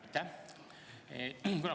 Aitäh!